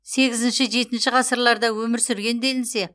сегізінші жетінші ғасырларда өмір сүрген делінсе